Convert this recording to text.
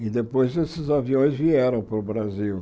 E depois esses aviões vieram para o Brasil.